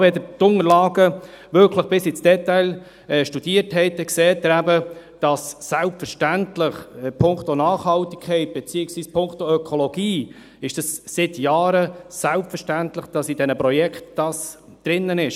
Selbst wenn Sie die Unterlagen wirklich bis ins Detail studiert haben, sehen Sie eben, dass es selbstverständlich punkto Nachhaltigkeit beziehungsweise punkto Ökologie seit Jahren selbstverständlich ist, dass dies in den Projekten enthalten ist.